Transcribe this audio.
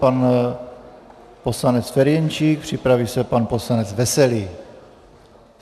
Pan poslanec Ferjenčík, připraví se pan poslanec Veselý.